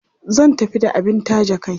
Zan tafi da abin taje kai.